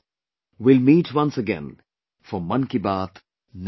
We will meet once again for 'Mann Ki Baat' next time